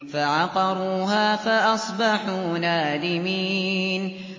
فَعَقَرُوهَا فَأَصْبَحُوا نَادِمِينَ